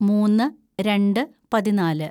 മൂന്ന് രണ്ട് പതിനാല്‌